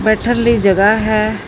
ਬੈਠਣ ਲਈ ਜਗਹਾ ਹੈ।